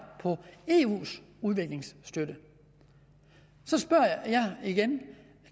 kroner i eus udviklingsstøtte så spørger jeg igen